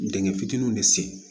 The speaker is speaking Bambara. Dingɛ fitininw de sen